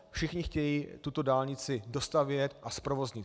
Všichni chtějí tuto dálnici dostavět a zprovoznit.